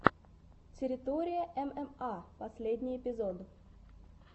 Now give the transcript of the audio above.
территория мма последний эпизод